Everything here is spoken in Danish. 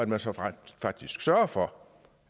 man så rent faktisk sørger for